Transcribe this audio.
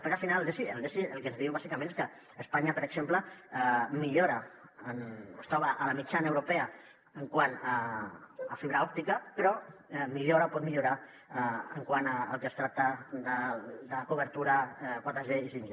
perquè al final el desi el que ens diu bàsicament és que espanya per exemple es troba en la mitjana europea quant a fibra òptica però pot millorar quant al que es tracta de cobertura 4g i 5g